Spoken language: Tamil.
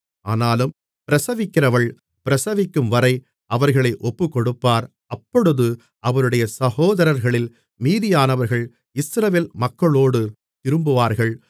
ஆனாலும் பிரசவிக்கிறவள் பிரசவிக்கும்வரை அவர்களை ஒப்புக்கொடுப்பார் அப்பொழுது அவருடைய சகோதரர்களில் மீதியானவர்கள் இஸ்ரவேல் மக்களோடு திரும்புவார்கள்